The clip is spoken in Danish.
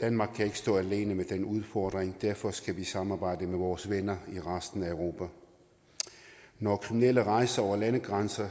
danmark kan ikke stå alene med den udfordring og derfor skal vi samarbejde med vores venner i resten af europa når kriminelle rejser over landegrænser